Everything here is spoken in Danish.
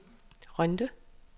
Rønde